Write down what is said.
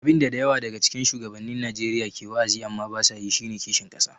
Abin da da yawa daga cikin shugabannin Najeriya ke wa’azi amma ba sa yi shi ne kishin ƙasa.